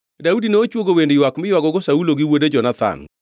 Daudi nochwogo wend ywak miywagogo Saulo gi wuode Jonathan,